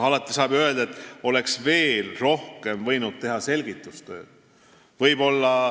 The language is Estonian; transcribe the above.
Alati saab ju öelda, et oleks võinud veel rohkem selgitustööd teha.